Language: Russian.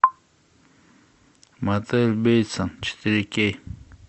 мотель бейтса четыре кей